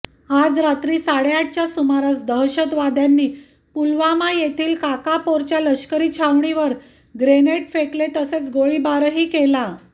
आज रात्री साडेआठच्या सुमारास दहशतवाद्यांनी पुलवामा येथील काकापोराच्या लष्करी छावणीवर ग्रेनेड फेकले तसेच गोळीबारही केला